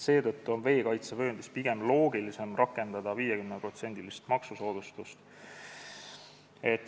Seetõttu on veekaitsevööndis pigem loogilisem rakendada 50%-list maksusoodustust.